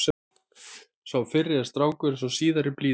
Sá fyrri er strangur en sá síðari blíður.